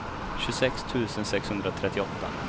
tjugosex tusen sexhundratrettioåtta